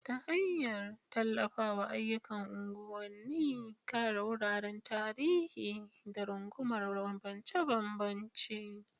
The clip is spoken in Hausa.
ta hanyar tallafawa ayyukan unguwanni, kare wuraren tarihi, da rungumar bambance-bambance.